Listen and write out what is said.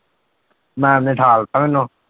Maam ਨੇ ਠਾਲ ਦਿੱਤਾ ਮੈਨੂੰ।